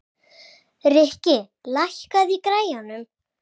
Rikki, lækkaðu í græjunum.